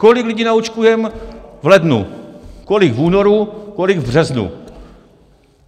Kolik lidí naočkujeme v lednu, kolik v únoru, kolik v březnu?